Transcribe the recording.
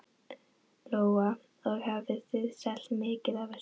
Lóa: Og hafið þið selt mikið af þessu?